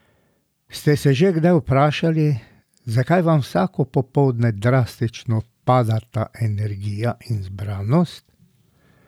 Ste se že kdaj vprašali, zakaj vam vsako popoldne drastično padeta energija in zbranost?